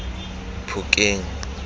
phokeng